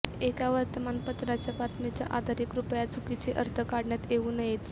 एका वर्तमानपत्राच्या बातमीच्या आधारे कृपया चुकीचे अर्थ काढण्यात येऊ नयेत